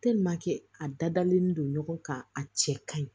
a dadalen don ɲɔgɔn kan a cɛ kaɲi